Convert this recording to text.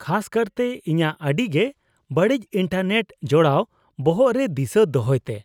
-ᱠᱷᱟᱥ ᱠᱟᱨᱛᱮ ᱤᱧᱟᱹᱜ ᱟᱹᱰᱤ ᱜᱮ ᱵᱟᱹᱲᱤᱡ ᱤᱱᱴᱟᱨᱱᱮᱴ ᱡᱚᱲᱟᱣ ᱵᱚᱦᱚᱜ ᱨᱮ ᱫᱤᱥᱟᱹ ᱫᱚᱦᱚᱭ ᱛᱮ ᱾